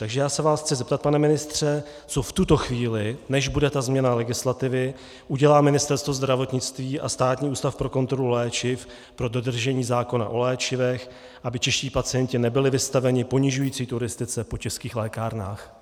Takže já se vás chci zeptat, pane ministře, co v tuto chvíli, než bude ta změna legislativy, udělá Ministerstvo zdravotnictví a Státní ústav pro kontrolu léčiv pro dodržení zákona o léčivech, aby čeští pacienti nebyli vystaveni ponižující turistice po českých lékárnách.